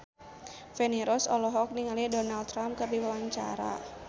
Feni Rose olohok ningali Donald Trump keur diwawancara